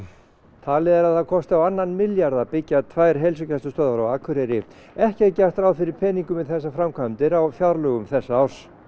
talið er að það kosti á annan milljarð að byggja tvær heilsugæslustöðvar á Akureyri ekki er gert ráð fyrir peningum í þessar framkvæmdir á fjárlögum þessa árs